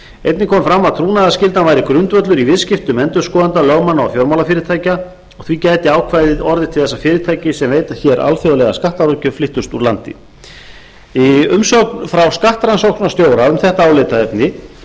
einnig kom fram að trúnaðarskyldan væri grundvöllur í viðskiptum endurskoðenda lögmanna og fjármálafyrirtækja og því gæti ákvæðið orðið til þess að fyrirtæki sem veita hér alþjóðlega skattaráðgjöf flyttust úr landi í umsögn frá skattrannsóknarstjóra um þetta álitaefni kemur hins vegar